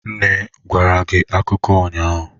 Nne gwara gi akụkọ ụnyahụ?